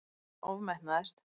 Hann ofmetnaðist.